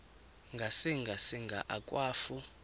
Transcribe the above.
ngasinga singa akwafu